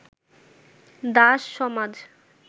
দাস-সমাজ